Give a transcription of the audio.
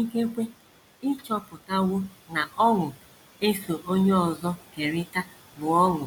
Ikekwe ị chọpụtawo na ọṅụ e so onye ọzọ kerịta bụ ọṅụ